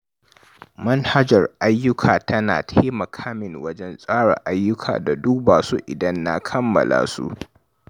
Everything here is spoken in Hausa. Manhajar jerin ayyuka tana taimaka min wajen tsara ayyuka da duba su idan na kammala su.